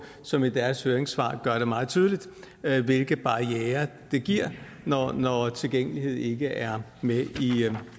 som i deres høringssvar gør det meget tydeligt hvilke barrierer det giver når når tilgængelighed ikke er med